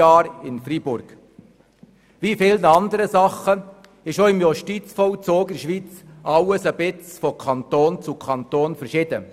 Wie in anderen Themenbereichen ist auch der Justizvollzug in allen Kantonen ein bisschen unterschiedlich geregelt.